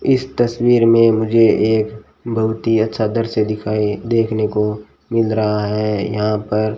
इस तस्वीर में मुझे एक बहुत ही अच्छा दृश्य दिखाई देखने को मिल रहा है यहां पर --